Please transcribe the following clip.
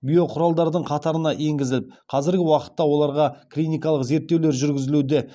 биоқұралдардың қатарына енгізіліп қазіргі уақытта оларға клиникалық зерттеулер жүргізілуде